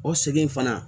O segin in fana